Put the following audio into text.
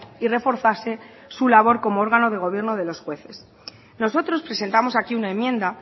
y reforzase su labor como órgano de gobierno de los jueces nosotros presentamos aquí una enmienda